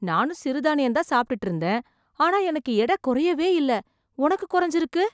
நானும் சிறுதானியம் தான் சாப்பிட்டுட்டு இருந்தேன், ஆனா எனக்கு எடை குறையவே இல்ல. உனக்கு குறைஞ்சுருக்கு.